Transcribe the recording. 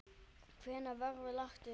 Hvenær verður lagt upp?